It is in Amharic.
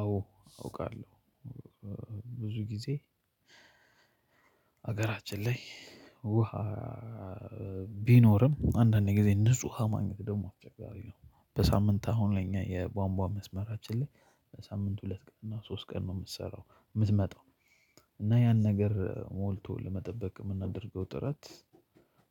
አዎ አውቃለሁ። ብዙ ጊዜ ሀገራችን ላይ ውሃ ቢኖርም አንዳንዴ ጊዜ ንጹህ ማግኘት ደግሞ አስቸጋሪ ነው። በሳምንት አሁን ለኛ የቧንቧ መስመራችን ላይ በሳምንት ሁለት ቀን እና ሶስት ቀን ነው ምትሰራው ምትመጣው እና ያን ነገር ሞልቶ ለመጠበቅ ምናደርገው ጥረት።